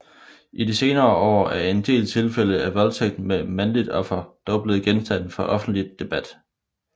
I de senere år er en del tilfælde af voldtægt med mandligt offer dog blevet genstand for offentlig debat